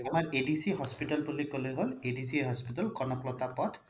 hospital বুলি ক্'লে হ'ল hospital কনক লতা পথ